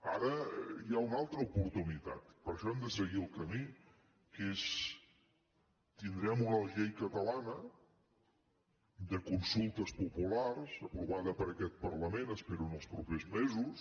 ara hi ha una altra oportunitat per això hem de seguir el camí que és que tindrem una llei catalana de consultes populars aprovada per aquest parlament espero els propers mesos